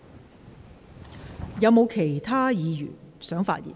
是否有其他議員想發言？